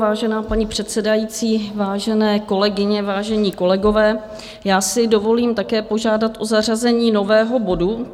Vážená paní předsedající, vážené kolegyně, vážení kolegové, já si dovolím také požádat o zařazení nového bodu.